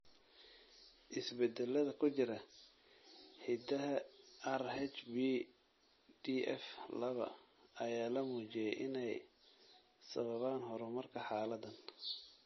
Isbeddellada ku jira hiddaha RHBDF laba ayaa la muujiyey inay sababaan horumarka xaaladdan.